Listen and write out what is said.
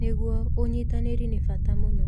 Nĩguo, ũnyitanĩri nĩ bata mũno.